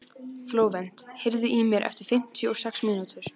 Flóvent, heyrðu í mér eftir fimmtíu og sex mínútur.